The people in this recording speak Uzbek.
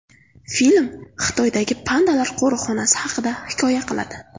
Film Xitoydagi pandalar qo‘riqxonasi haqida hikoya qiladi.